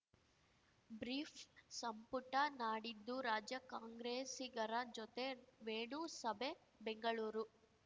brief ಸಂಪುಟ ನಾಡಿದ್ದು ರಾಜ್ಯ ಕಾಂಗ್ರೆಸಿಗರ ಜೊತೆ ವೇಣು ಸಭೆ ಬೆಂಗಳೂರು